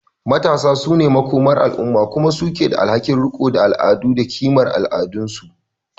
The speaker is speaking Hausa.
Matasa su ne makomar al’umma kuma su ke da alhakin riko da al’adu da kimar al’adunsu.